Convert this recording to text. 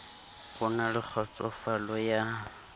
ho na le kgotsofalo ya